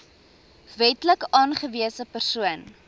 wetlik aangewese persoon